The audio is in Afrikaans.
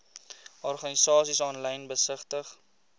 organisasies aanlyn besigtig